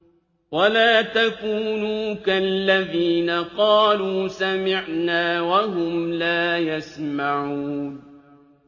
وَلَا تَكُونُوا كَالَّذِينَ قَالُوا سَمِعْنَا وَهُمْ لَا يَسْمَعُونَ